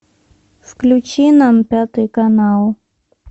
включи нам пятый канал